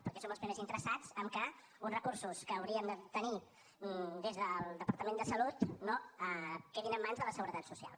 perquè som els primers interessats amb el fet que uns recursos que hauríem de tenir des del departament de salut no quedin en mans de la seguretat social